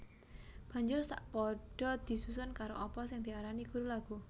Banjur sa padha disusun karo apa sing diarani guru laghu